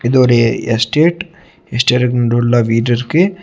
இது ஒரு estate estate முன்டுள்ள வீடு இருக்கு.